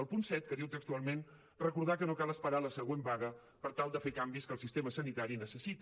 el punt set que diu textualment recordar que no cal esperar la següent vaga per tal de fer canvis que el sistema sanitari necessita